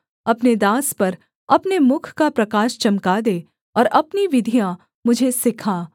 अपने दास पर अपने मुख का प्रकाश चमका दे और अपनी विधियाँ मुझे सिखा